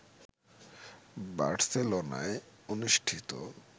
বার্সেলোনায় অনুষ্ঠিত